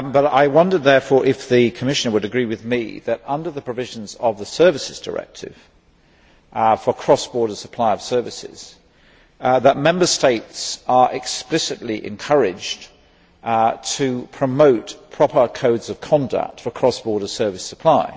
I wonder, therefore, if the Commissioner would agree with me that, under the provisions of the Services Directive for the cross border supply of services, Member States are explicitly encouraged to promote proper codes of conduct for cross border service supply.